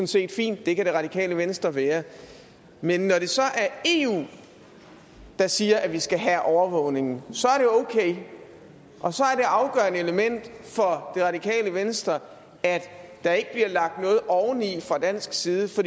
set fint det kan radikale venstre være men når det så er eu der siger at vi skal have overvågningen så er det okay og så er det afgørende element for det radikale venstre at der ikke bliver lagt noget oveni fra dansk side for